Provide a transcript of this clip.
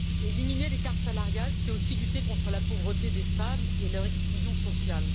Éliminer l'écart salarial, c'est aussi lutter contre la pauvreté des femmes et leur exclusion sociale.